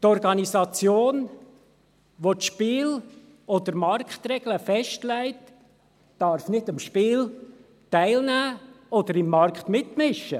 Die Organisation, welche die Spiel- oder Marktregeln festlegt, darf nicht am Spiel teilnehmen oder im Markt mitmischen.